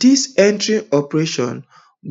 dis entire operation